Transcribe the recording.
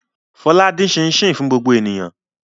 Fọlá dín am ṣíín-ṣiìn fún gbogbo ènìyàn.